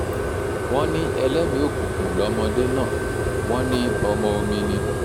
wọ́n ní ẹlẹ́mì-ín òkùnkùn lọmọdé náà wọ́n ní ọmọ omi ni